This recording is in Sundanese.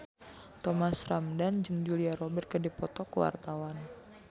Thomas Ramdhan jeung Julia Robert keur dipoto ku wartawan